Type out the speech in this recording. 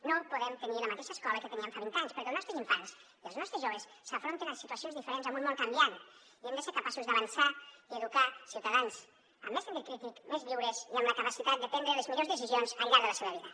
no podem tenir la mateixa escola que teníem fa vint anys perquè els nostres infants i els nostres joves s’enfronten a situacions diferents en un món canviant i hem de ser capaços d’avançar i educar ciutadans amb més sentit crític més lliures i amb la capacitat de prendre les millors decisions al llarg de la seva vida